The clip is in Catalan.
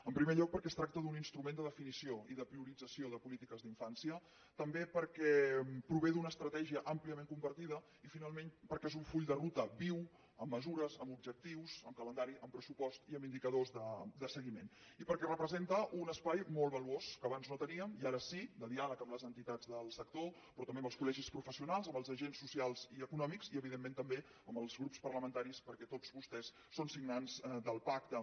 en primer lloc perquè es tracta d’un instrument de definició i de priorització de polítiques d’infància també perquè prové d’una estratègia àmpliament compartida i finalment perquè és un full de ruta viu amb mesures amb objectius amb calendari amb pressupost i amb indicadors de seguiment i perquè representa un espai molt valuós que abans no teníem i ara sí de diàleg amb les entitats del sector però també amb els col·agents socials i econòmics i evidentment també amb els grups parlamentaris perquè tots vostès són signants del pacte